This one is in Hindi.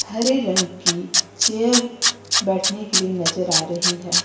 हरे रंग की चेयर बैठने के लिए नजर आ रही है।